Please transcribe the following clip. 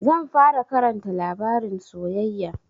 Zan fara Karanta labarin soyayya.